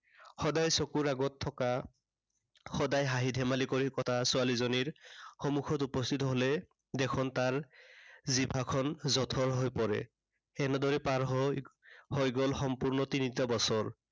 সদায় চকুৰ আগত থকা, সদায় হাঁহি ধেমালি কৰি থকা ছোৱালীজনীৰ সন্মুখত উপস্থিত হলেই দেখোন তাৰ জিভাখন জঠৰ হৈ পৰে। সেনেদৰেই পাৰ হৈ, হৈ গল সম্পূৰ্ণ তিনিটা বছৰ।